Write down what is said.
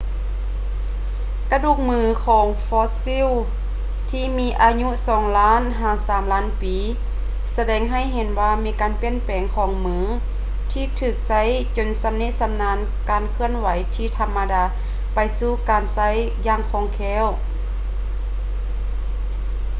ກະດູກມືຂອງຟອດຊິວທີ່ມີອາຍຸສອງລ້ານ ຫາ ສາມລ້ານປີສະແດງໃຫ້ເຫັນວ່າມີການປ່ຽນແປງຂອງມືທີ່ຖືກໃຊ້ຈົນຊຳນິຊຳນານຈາກການເຄື່ອນທີ່ທຳມະດາໄປສູ່ການໃຊ້ຢ່າງຄ່ອງແຄ້ວ